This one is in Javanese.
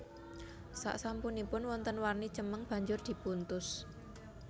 Saksampunipun wonten warni cemeng banjur dipuntus